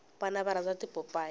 vana va rhandza tipopayi